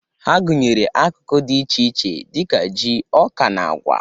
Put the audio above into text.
Ha gụnyere akụkụ dị iche iche dị ka ji, ọka, na agwa